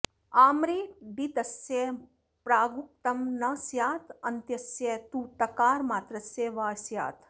आम्रेडितस्य प्रागुक्तं न स्यादन्त्यस्य तु तकारमात्रस्य वा स्यात्